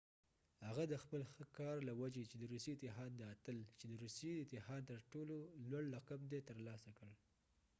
هغه د خپل ښه کار له وجې د روسي اتحاد د اتل چې د روسي اتحاد تر ټولو لوړ لقب دی ترلاسه کړ